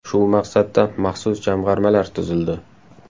Shu maqsadda maxsus jamg‘armalar tuzildi.